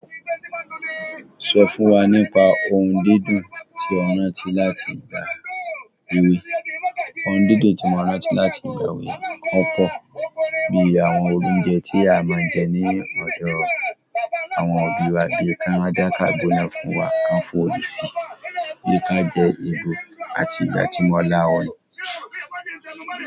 Sọ fún wa nípa ohun dídùn tí o rántí láti ìgbà èwe. Ohun dídùn tí mo rántí láti ìgbà èwe, wọn pọ̀. Bí i àwọn oúnjẹ tí a máa ń jẹ ní ọ̀dọ̀ àwọn òbí wa bí i kan a dá kàgbọ́ná fún wa, kan fòòlù si, bí i kan a jẹ ìgò àti ijà tí mọ́ láwọ̀n.